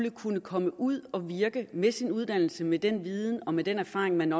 at kunne komme ud at virke med sin uddannelse med den viden og med den erfaring man